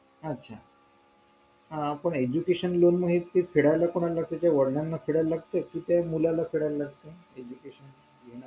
अच्छा हा पण education loan हे मंग कोणाला फेडावे लागते त्याचा वडिलाला फेडावे लागत कि त्याचा मुलाला फेडावे लागत